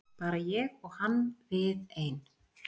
Bara ég og hann við ein.